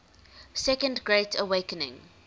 second great awakening